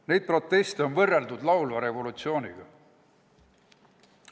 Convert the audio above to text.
Neid proteste on võrreldud laulva revolutsiooniga.